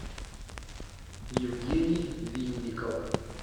евгений винников